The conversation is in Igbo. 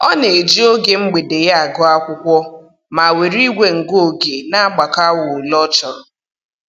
Ọ na-eji oge mgbede ya agụ akwụkwọ, ma were igwe ngụ oge na-agbakọ awa ole ọ chọrọ